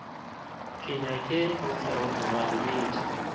ke nyake go feroga dibete